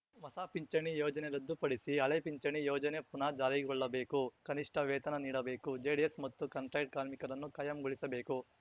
ಹೊಸ ಪಿಂಚಣಿ ಯೋಜನೆ ರದ್ದುಪಡಿಸಿ ಹಳೆ ಪಿಂಚಣಿ ಯೋಜನೆ ಪುನಾ ಜಾರಿಗೊಳ್ಳಬೇಕು ಕನಿಷ್ಠ ವೇತನ ನೀಡಬೇಕು ಜಿಡಿಎಸ್‌ ಮತ್ತು ಕಾಂಟ್ರ್ಯಾಕ್ಟ್ ಕಾರ್ಮಿಕರನ್ನು ಕಾಯಂಗೊಳಿಸಬೇಕು